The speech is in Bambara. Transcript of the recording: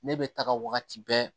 Ne bɛ taga wagati bɛɛ